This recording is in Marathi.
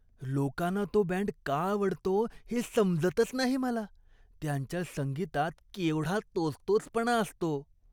लोकांना तो बँड का आवडतो हे समजतच नाही मला. त्यांच्या संगीतात केवढा तोचतोचपणा असतो!